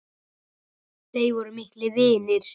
Þeir voru miklir vinir.